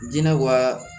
Jinɛ wa